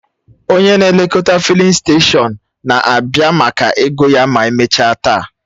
Onye na-elekọta fịlịn steshọn na-abịa maka ego ya ma emechaa taa